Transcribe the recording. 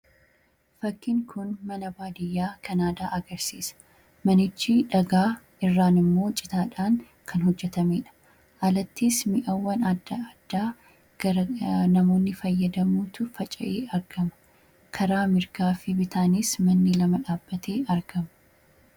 fakkin kun mana baadiyyaa kanaadaa agarsiisa manichi dhagaa irraan immoo citaadhaan kan hojjetamee dha alattis mi'awwan a addaa garanamoonni fayyadamuutu faca'ee argama karaa mirgaa fi bitaanis manni lama dhaabatee argama